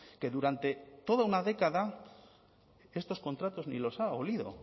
que durante toda una década estos contratos ni los ha olido